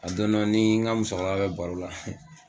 Dondɔ i n'i n ka musokɔrɔba be baro la